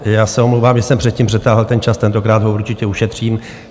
Já se omlouvám, že jsem předtím přetáhl ten čas, tentokrát ho určitě ušetřím.